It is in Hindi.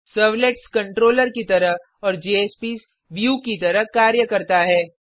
सर्वलेट्स कंट्रोलर की तरह और जेएसपीएस व्यू की तरह कार्य करता है